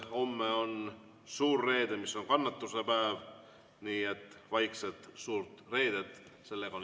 Homme on suur reede, mis on kannatuse päev, nii et vaikset suurt reedet!